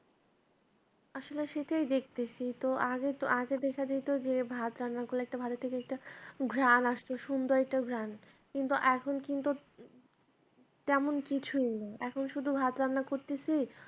আসলে সেটাই দেখতেছি তো আগে আগে দেখা যাইত যে ভাত রান্না করলে একটা ভাতের থেকে একটা ঘ্রান আসতো সুন্দর একটা ঘ্রান কিন্তু এখন কিন্তু তেমন কিছুই নেই এখন শুধু ভাত রান্না করতেছি